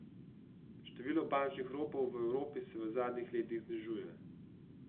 Število bančnih ropov v Evropi se v zadnjih letih znižuje.